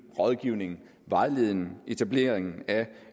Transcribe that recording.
rådgivning vejledning etablering af